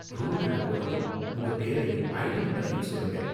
ரூமுக்குள்ள போனதும் உங்க பேரையும் ஐடி நம்பரையும் சொல்லுங்க.